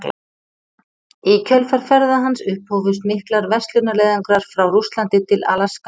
Í kjölfar ferða hans upphófust miklir verslunarleiðangrar frá Rússlandi til Alaska.